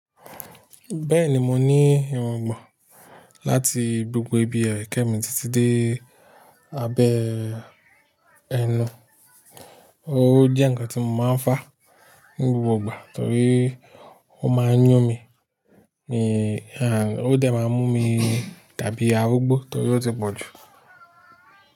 Bẹ́ẹ̀ni, mo ní irungbọ̀n láti gbogbo ibi ẹ̀kẹ mi títí dé abẹ́ ẹnu. Ó jẹ́ nǹkan tí mo máa ń fà ní gbogbo ìgbà torí ó máa ń yún mi. Ó dé máa mú mi dàbí arúgbó torí ó ti pọ̀jù.